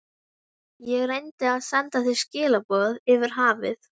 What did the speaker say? Ég reyndi að senda þér skilaboð yfir hafið.